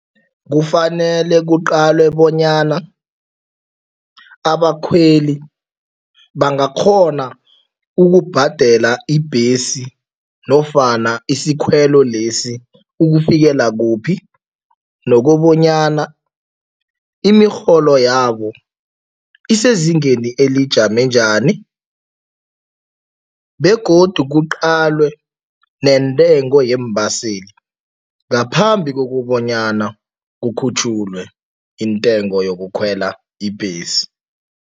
Kufanele kuqalwe bonyana abakhweli bangakghona ukubhadela ibhesi nofana isikhwelo lesi ukufikela kuphi nokobanyana imirholo yabo isezingeni elijame njani begodu kuqalwe nentengo yeembaseli, ngaphambi kokubonyana kukhutjhulwe intengo yokukhwela ibhesi.